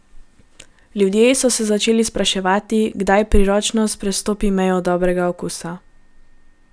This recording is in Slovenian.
Ljudje so se začeli spraševati, kdaj priročnost prestopi mejo dobrega okusa.